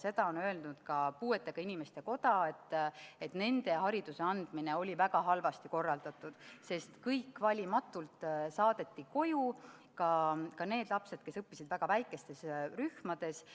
Seda on öelnud ka puuetega inimeste koda, et nende puhul oli hariduse andmine väga halvasti korraldatud, sest kõik saadeti valimatult koju, ka need lapsed, kes õppisid väga väikestes rühmades.